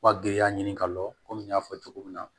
Wa giriya ɲini ka lɔni n y'a fɔ cogo min na